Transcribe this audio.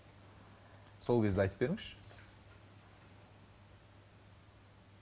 сол кезді айтып беріңізші